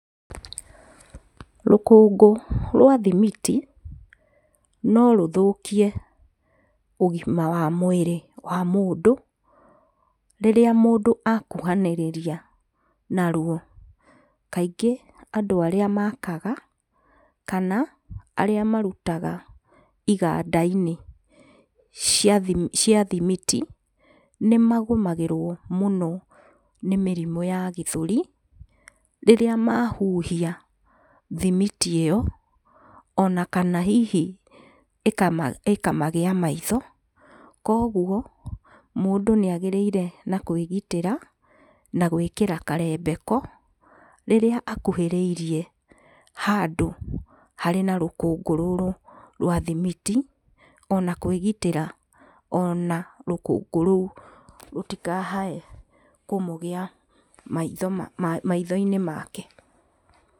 Rũkũngũ rwa thimiti no rũthũkie ũgima wa mwĩrĩ wa mũndũ rĩrĩa mũndũ akuhanĩrĩria naruo kaingĩ andũ arĩa makaga kana arĩa marutaga iganda inĩ cia thimiti nĩmagũmagĩrwo mũno nĩ mĩrimũ ya gĩthũri, rĩrĩa mahuhia thimiti ĩyo ona kana hihi ĩkamagĩa maitho, koguo mũndũ nĩagĩrĩire na kwĩgitĩra na gwĩkĩra karembeko, rĩrĩa akuhĩrĩirie handũ harĩ na rũkũngũ rũrũ rwa thimiti, ona kwĩgitĩra ona rũkũngũ rũu rũtikae kũmũgĩa maitho-inĩ make.